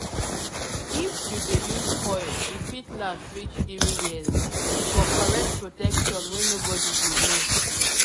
if you dey use coil e fit last reach 3yrs-- for correct protection wey nobody go know